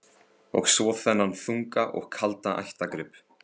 Og svo þennan þunga og kalda ættargrip.